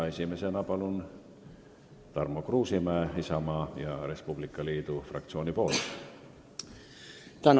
Esimesena palun, Tarmo Kruusimäe Isamaa ja Res Publica Liidu fraktsiooni nimel.